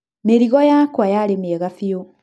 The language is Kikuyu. Mĩrigo yakwa yarĩ mĩega biũ.